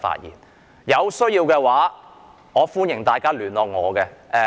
如有需要，歡迎大家聯絡我。